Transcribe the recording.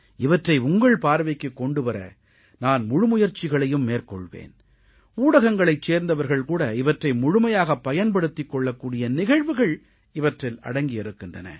இவற்றை உங்கள் பார்வைக்குக் கொண்டு வர நான் முழு முயற்சிகளையும் மேற்கொள்வேன் ஊடகங்களைச் சேர்ந்தவர்கள் கூட இவற்றை முழுமையாகப் பயன்படுத்திக் கொள்ளக் கூடிய நிகழ்வுகள் இவற்றில் அடங்கியிருக்கின்றன